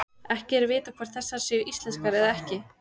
Ekki er vitað hvort þessar séu íslenskar eða ekki.